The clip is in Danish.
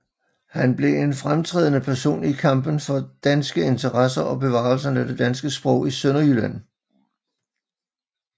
Han blev en fremtrædende person i kampen for danske interesser og bevarelsen af det danske sprog i Sønderjylland